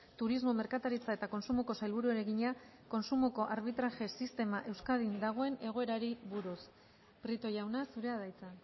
turismo merkataritza eta kontsumoko sailburuari egina kontsumoko arbitraje sistema euskadin dagoen egoerari buruz prieto jauna zurea da hitza